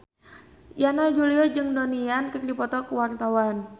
Yana Julio jeung Donnie Yan keur dipoto ku wartawan